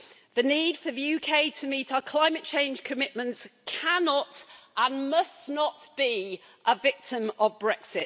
The need for the UK to meet our climate change commitments cannot and must not be a victim of Brexit.